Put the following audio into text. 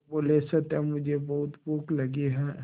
वे बोले सत्या मुझे बहुत भूख लगी है